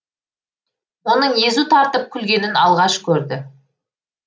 оның езу тартып күлгенін алғаш көрді